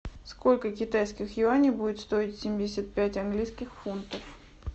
сколько китайских юаней будут стоить семьдесят пять английских фунтов